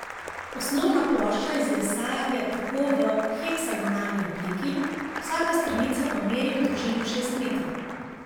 Osnovna plošča iz lesa je tako v heksagonalni obliki, vsaka stranica pa meri v dolžino šest metrov.